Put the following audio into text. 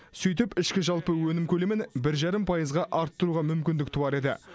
сөйтіп ішкі жалпы өнім көлемін бір жарым пайызға арттыруға мүмкіндік туар еді